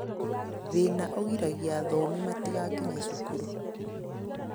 Thina ũgiragia athomi matigakinye cukuru